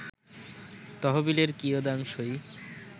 তহবিলের কিয়দাংশই